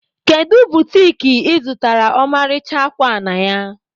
Kedu butiki ị zụtara ọmarịcha akwa a na ya?